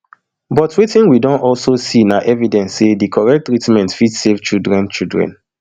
but wetin we don also see na evidence say di correct treatment fit save children children